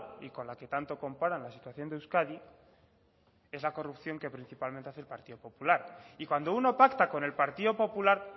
y con la que tanto comparan la situación de euskadi es la corrupción que principalmente hace el partido popular y cuando uno pacta con el partido popular